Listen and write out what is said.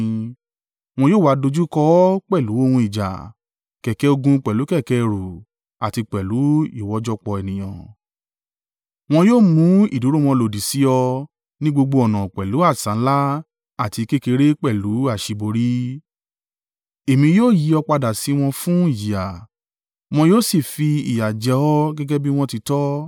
Wọn yóò wa dojúkọ ọ pẹ̀lú ohun ìjà, kẹ̀kẹ́ ogun pẹ̀lú kẹ̀kẹ́ ẹrù àti pẹ̀lú ìwọ́jọpọ̀ ènìyàn; wọn yóò mú ìdúró wọn lòdì sí ọ ní gbogbo ọ̀nà pẹ̀lú asà ńlá àti kékeré pẹ̀lú àṣíborí. Èmi yóò yí ọ padà sí wọn fun ìjìyà, wọn yóò sì fi ìyà jẹ ọ gẹ́gẹ́ bí wọn tí tó.